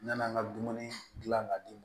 N nana n ka dumuni dilan ka d'i ma